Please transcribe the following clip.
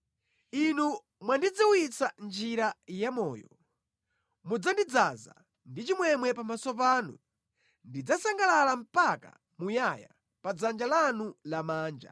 Inu mwandidziwitsa njira ya moyo; mudzandidzaza ndi chimwemwe pamaso panu, ndidzasangalala mpaka muyaya pa dzanja lanu lamanja.